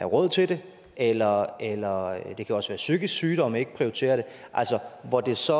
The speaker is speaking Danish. råd til det eller eller det kan også være psykisk sygdom ikke prioriterer det og hvor det så